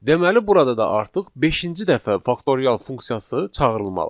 Deməli burada da artıq beşinci dəfə faktorial funksiyası çağırılmalıdır.